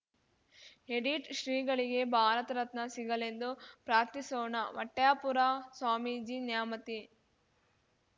edit ಶ್ರೀಗಳಿಗೆ ಭಾರತರತ್ನ ಸಿಗಲೆಂದು ಪ್ರಾರ್ಥಿಸೋಣ ಹೊಟ್ಯಾಪುರ ಸ್ವಾಮೀಜಿ ನ್ಯಾಮತಿ